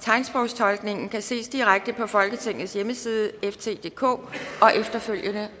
tegnsprogstolkningen kan ses direkte på folketingets hjemmeside FT DK og efterfølgende